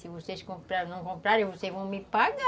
Se vocês comprarem ou não comprarem, vocês vão me pagar.